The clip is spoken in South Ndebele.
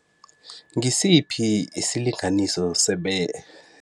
Ngisiphi isilinganiso